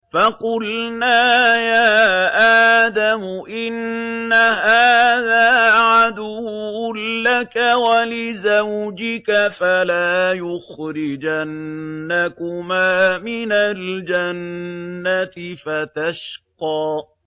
فَقُلْنَا يَا آدَمُ إِنَّ هَٰذَا عَدُوٌّ لَّكَ وَلِزَوْجِكَ فَلَا يُخْرِجَنَّكُمَا مِنَ الْجَنَّةِ فَتَشْقَىٰ